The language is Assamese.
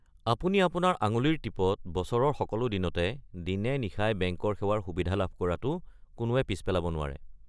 আপুনি আপোনাৰ আঙুলিৰ টিপত বছৰৰ সকলো দিনতে দিনে-নিশাই বেংকৰ সেৱাৰ সুবিধা লাভ কৰাটো কোনোৱে পিছ পেলাব নোৱাৰে।